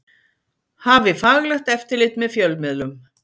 Hafi faglegt eftirlit með fjölmiðlum